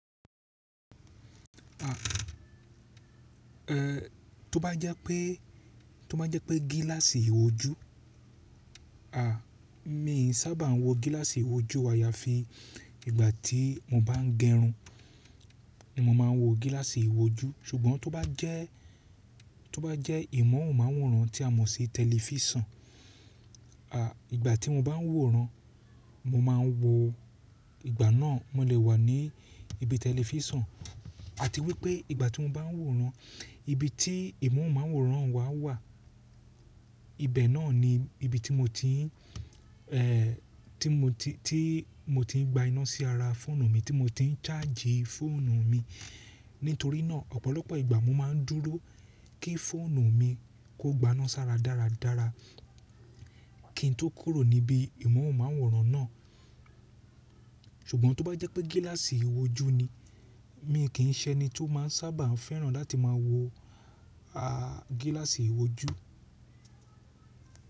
Tó bá jẹ́ pé, tó bá jẹ́ pé gíláàsì ìwójú, a, mi sábà ń wo gíláàsì ìwójú ayàfi ìgbà tí mo bá ń gẹrun, mo máa ń wo gíláàsì ìwójú. Ṣùgbọ́n tó bá jẹ́, tó bá jẹ́ ìmọ̀unmáwòrán tí a mọ̀ sí tẹlifísàn, a, ìgbà tí mo bá ń wòran, mo máa wo ìgbà náà mo lè wà ní ibi tẹlifísàn àti wípé ìgbà tí mo bá ń wòran, ibi tí ìmọ̀unmáwòrán wa wà, ibẹ̀ náà ni ibi tí mo ti ń, e, tí mo ti, tí mo ti ń gba iná sí ara fóònù mi, tí mo ti ń ṣáàjì fóònù mi. Nítorí náà ọ̀pọ̀lọpọ̀ ìgbà mo máa ń dúró kí fóònù mi kó gba iná sára dáradára kí n tó kúrò níbi ìmọ̀unmáwòrán náà. Ṣùgbọ́n tó bá jẹ́ pé gíláàsì ìwójú ni, mi kì í ṣe ẹni tó máa ń sábà ń fẹ́ràn láti máa wo, a, gíláàsì ìwójú.